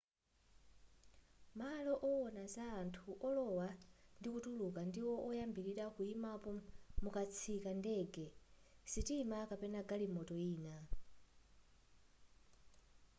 malo owona za anthu olowa ndikutuluka ndiwo oyambilira kuyimapo mukatsika ndege sitima kapena galimoto ina